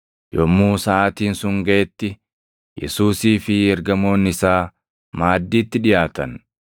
Yommuu saʼaatiin sun gaʼetti Yesuusii fi ergamoonni isaa maaddiitti dhiʼaatan.